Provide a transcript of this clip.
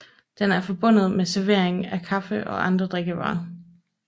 Den er forbundet med servering af kaffe og andre drikkevarer